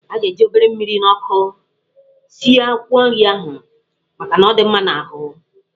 A ga-eji obere mmiri na ọkụ sie akwụkwọ nrị ahụ, maka ọ dị mma n'ahụ.